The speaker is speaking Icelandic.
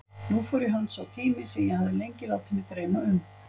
Nú fór í hönd tími sem ég hafði lengi látið mig dreyma um.